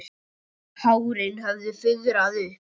Hárin höfðu fuðrað upp.